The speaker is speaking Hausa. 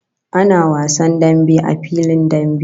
Ana wasan dambe a filin dambe